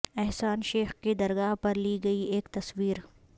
احسان شیخ کی درگاہ پر لی گئی ایک تصویر